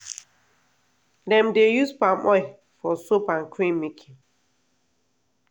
dem dey use palm oil for soap and cream making.